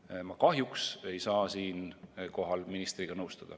Ma ei saa kahjuks siinkohal ministriga nõustuda.